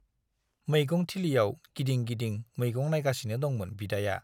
मैगं थिलियाव गिदिं गिदिं मैगं नाइगासिनो दंमोन बिदाया।